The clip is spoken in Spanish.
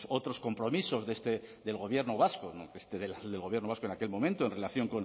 otros compromisos del gobierno vasco del gobierno vasco en aquel momento en relación